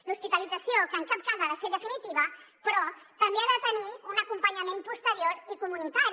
l’hospitalització que en cap cas ha de ser definitiva però també ha de tenir un acompanyament posterior i comunitari